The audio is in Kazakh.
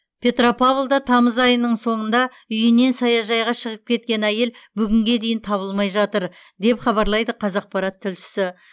петропавлда тамыз айының соңында үйінен саяжайға шығып кеткен әйел бүгінге дейін табылмай жатыр деп хабарлайды қазақпарат тілшісі